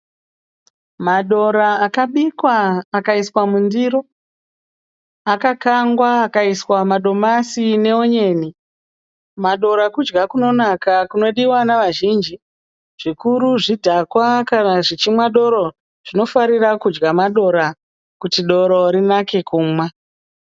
Madora akabikwa akaiswa mundiro. Akakangwa akaiswa madomasi neonyeni. Madora kudya kunonaka, kunodiwa navazhinji, zvikuru zvidhakwa kana zvichinwa doro, zvinofarira kudya madora kuti doro rinake kumwa.